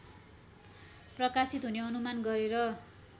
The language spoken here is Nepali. प्रकाशित हुने अनुमान गरेर